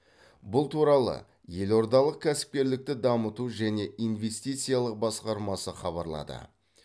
бұл туралы елордалық кәсіпкерлікті дамыту және инвестициялық басқармасы хабарлады